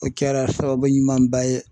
O kɛra sababu ɲumanba ye.